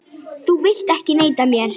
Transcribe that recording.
Þú vilt ekki neita mér.